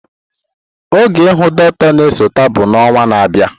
Oge ihu dọkịta na-esote bụ na ọnwa na-abịa.